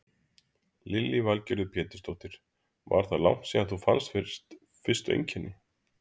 Lillý Valgerður Pétursdóttir: Var þá langt síðan þú fannst fyrstu einkenni?